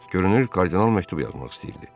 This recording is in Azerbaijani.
Görünür kardinal məktub yazmaq istəyirdi.